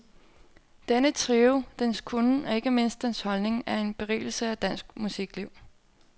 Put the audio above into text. Denne trio, dens kunnen og ikke mindst dens holdning er en berigelse af dansk musikliv.